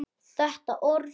Þetta orð.